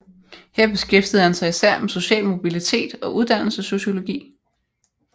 Her beskæftigede han sig især med social mobilitet og uddannelsessociologi